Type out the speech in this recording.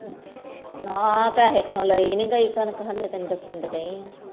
ਨਾ ਪੈਸੇ ਕਰਕੇ ਲਾਇ ਨੀ ਗਯੀ ਕਣਕ ਹਾਲੇ ਤੈਨੂੰ ਦੱਸਣ ਤਾ ਦੀ ਆ